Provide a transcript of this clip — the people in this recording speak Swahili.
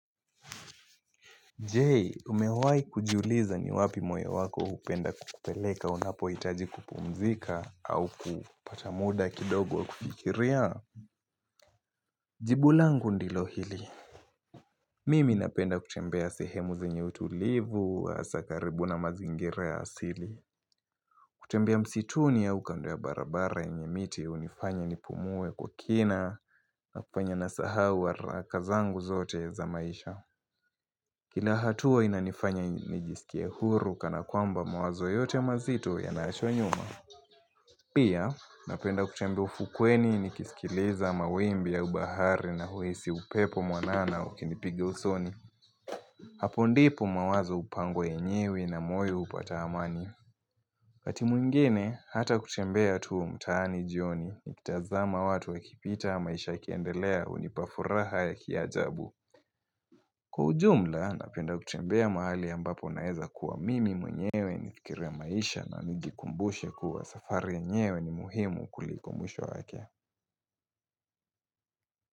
Je umewahi kujiuliza ni wapi moyo wako hupenda kukupeleka unapohitaji kupumzika au kupata muda kidogo kukikiria Jibu langu ndilo hili Mimi napenda kutembea sehemu zenye utulivu wa hasakaribuna mazingira asili kutembea msituni ya ukando ya barabara yenye miti ya hunifanya nipumuwe kwa kina na kufanya na sahau wa haraka zangu zote za maisha kina hatua inanifanya nijisikia huru kana kwamba mawazo yote mazito yanaachwa nyuma. Pia napenda kutembe ufukweni nikisikiliza mawimbi ya ubahari na huisi upepo mwanana ukinipigasoni. Hapo ndipo mawazo hupangwe enyewe na moyo hupata amani. waKati mwingine hata kutembea tuu mtaani jioni nikitazama watu wakipita maisha kiendelea hunipafuraha ya kiajabu. Kwa jumla, napenda kutembea mahali ambapo naeza kuwa mimi mwenyewe ni fikiru ya maisha na nijikumbushe kuwa safari yenyewe ni muhimu kuliko mwisho wake.